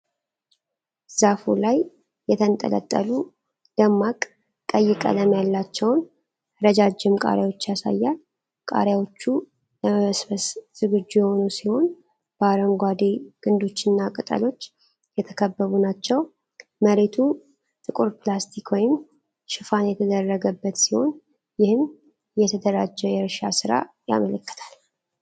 ዛፉ ላይ የተንጠለጠሉ ደማቅ ቀይ ቀለም ያላቸውንረጃጅም ቃሪያዎች ናቸው። ቃሪያዎቹ ለመሰብሰብ ዝግጁ የሆኑ ሲሆን፣ በአረንጓዴ ግንዶችና ቅጠሎች የተከበቡ ናቸው። መሬቱ ጥቁር ፕላስቲክ ወይም ሽፋን የተደረገበት ሲሆን ይህም የተደራጀ የእርሻ ሥራ ያመለክታል።